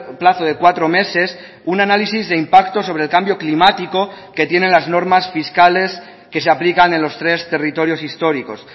plazo de cuatro meses un análisis de impacto sobre el cambio climático que tienen las normas fiscales que se aplican en los tres territorios históricos